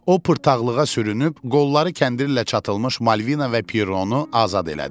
O pırtdaxlığa sürünüb qolları kəndir ilə çatılmış Malvina və Pirronu azad elədi.